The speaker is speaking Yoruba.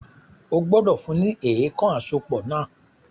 O gbọ́dọ̀ fún ní “èèkàn àsopọ̀” náà